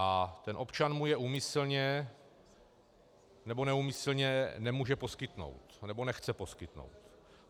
A ten občan mu je úmyslně nebo neúmyslně nemůže poskytnout, nebo nechce poskytnout.